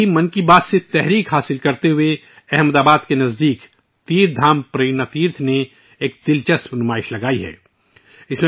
اسی طرح 'من کی بات' سے متاثر ہو کر احمد آباد کے قریب تیرتھ دھام پریرنا تیرتھ نے ایک دلچسپ نمائش کا اہتمام کیا ہے